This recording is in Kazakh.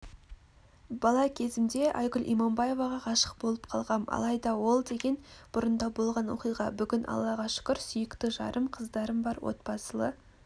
бала кезімде айгүл иманбаеваға ғашық болып қалғам алайда ол деген бұрында болған оқиға бүгін аллаға шүкір сүйікті жарым қыздарым бар отбасылы